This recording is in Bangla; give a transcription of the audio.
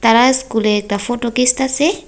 পাড়ার স্কুলে একতা ফটো কিসতাসে ।